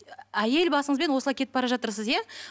әйел басыңызбен осылай кетіп бара жатырсыз иә